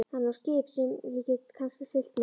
Hann á skip sem ég get kannski siglt með.